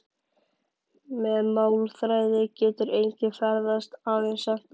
Með málþræði getur enginn ferðast- aðeins sent orð.